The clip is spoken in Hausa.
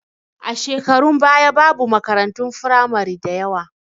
A shekarun baya babu makaratun firamari da yawa